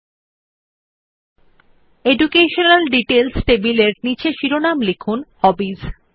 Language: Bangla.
শিক্ষাগত বিবরণ সংক্রান্ত টেবিলের নীচে শিরোমন লিখুন হবিস